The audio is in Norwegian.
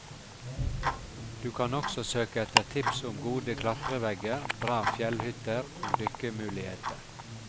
Du kan også søke etter tips om gode klatrevegger, bra fjellhytter og dykkemuligheter.